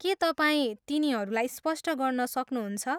के तपाईँ तिनीहरूलाई स्पष्ट गर्न सक्नुहुन्छ?